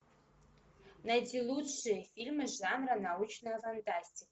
найти лучшие фильмы жанра научная фантастика